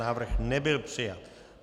Návrh nebyl přijat.